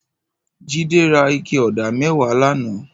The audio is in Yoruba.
Jide rà iké ọ̀dá mẹ̀wá làná